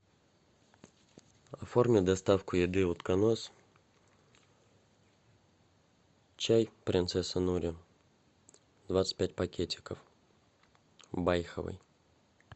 оформи доставку еды утконос чай принцесса нури двадцать пять пакетиков байховый